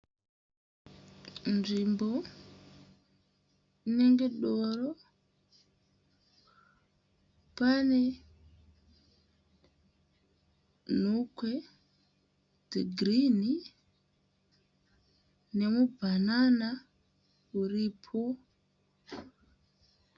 Nzvimbo inenge doro. Pane nhukwe dzegirinhi, nemubhanana uripo.